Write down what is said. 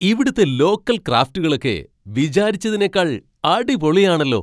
ഇവിടുത്തെ ലോക്കൽ ക്രാഫ്റ്റുകളൊക്കെ വിചാരിച്ചതിനേക്കാൾ അടിപൊളിയാണല്ലോ!